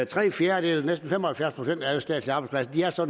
tre fjerdedele næsten fem og halvfjerds procent af alle statslige arbejdspladser